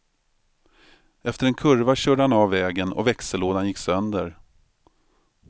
Efter en kurva körde han av vägen och växellådan gick sönder.